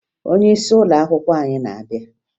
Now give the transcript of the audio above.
Onyeisi ụlọakwụkwọ anyị na-abịa